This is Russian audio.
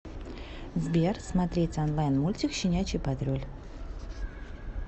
сбер смотреть онлайн мультик щенячий патруль